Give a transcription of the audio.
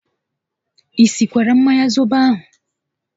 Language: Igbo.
I sikwara mmanya zobo ahụ?